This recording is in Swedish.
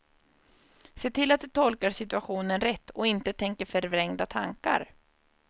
Se till att du tolkar situationen rätt och inte tänker förvrängda tankar.